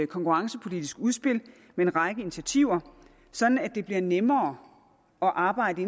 konkurrencepolitisk udspil med en række initiativer sådan at det bliver nemmere at arbejde